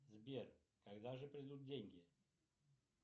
сбер когда же придут деньги